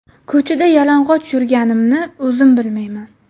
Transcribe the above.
Ko‘chada yalang‘och yurganimni o‘zim bilmayman.